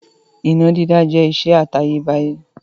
Iná dídá jẹ́ ìṣe àtayébáyé.